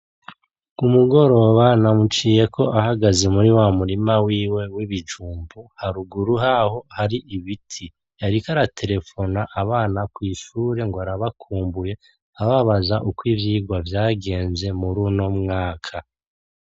Ku mugoroba namuciyeko ahagaze muri wa murima wiwe w'ibijumbu haruguru haho hari ibiti. Yariko araterefona abana kw'ishure ngo arabakumbuye, ababaza uko ivyigwa vyagenze muri uno mwaka.